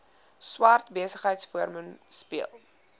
swart besigheidsforum speel